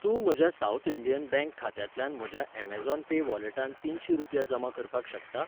तूं म्हज्या South Indian Bank खात्यांतल्यान म्हज्या यॅमेझॉन पे वॉलेटांत तिनशी रुपया जमा करपाक शकता?